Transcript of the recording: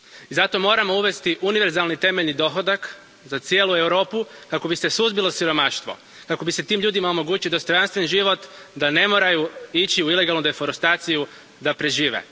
Zato moramo uvesti univerzalni temeljni dohodak za cijelu Europu kako bi se suzbilo siromaštvo, kako bi se tim ljudima omogućio dostojanstven život da ne moraju ići u ilegalnu deforestaciju da prežive.